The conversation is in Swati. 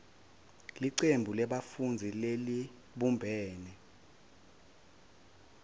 licembu lebafundzi lelibumbene